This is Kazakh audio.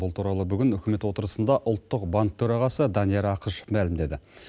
бұл туралы бүгін үкімет отырысында ұлттық банк төрағасы данияр ақышев мәлімдеді